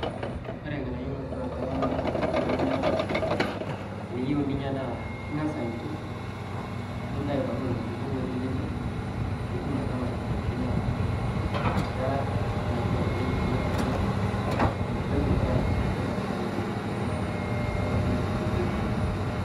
Ore lng'anaiyo lootuwa kuloo naa inyaa tiniyeu ninyaa naa ing'aas aituuk nintaai abakii leloo lkikoo lootii keeper pii ituum atamaa aitibirakii naa keraa netipaat oleng' tining'aas aituuk pee ataa netipaat te atua sesen linono te atua biotisho le sesen linoo.